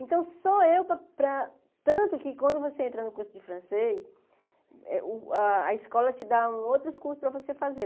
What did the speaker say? Então, só eu, para para tanto que quando você entra no curso de francês, eh o a escola te dá outros cursos para você fazer.